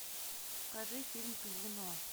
покажи фильм казино